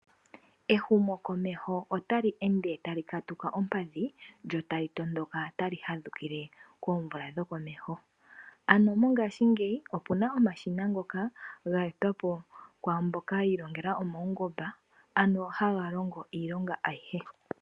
Ehumokomeho otali ende tali katuka ompadhi lyo tali tondoka tali fadhukile koomvula dhokomeho. Ano mongashingeyi oku na omashina ngono ga etwa po kwaa mboka yi ilongela omaungomba, ano haga longo iilonga ayihe.